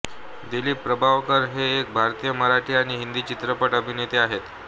दिलीप प्रभावळकर हे एक भारतीय मराठी आणि हिंदी चित्रपट अभिनेते आहेत